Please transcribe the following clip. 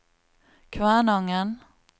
Kvænangen